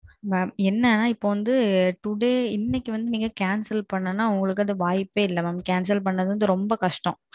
இப்போ என்ன நா Today இன்னைக்கு நீங்க Cancel பண்ணனும்னா உங்களுக்கு வாய்ப்பே இல்லை Cancel பண்றது ரொம்ப கஷ்டம்